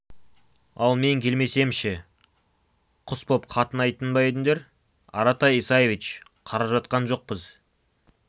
ал мен келмесем ше құс боп қатынайтын ба едіңдер аратай исаевич қарап жатқан жоқпыз